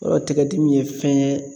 Yɔrɔ tigɛdimi ye fɛn ye